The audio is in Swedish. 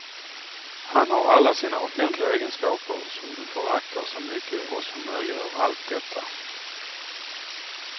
Han har alla sina offentliga egenskaper som du föraktar så mycket och som möjliggör allt detta.